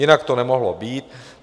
Jinak to nemohlo být.